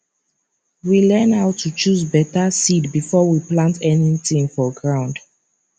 we learn how to choose better seed before we plant anything for ground